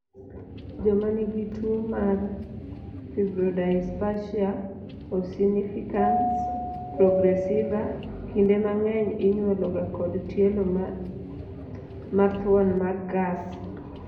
joma nigi tuo mar firbrodyspasia ossificans progressiva kinde mang'eny inywolo ga kod tielo mathuon magath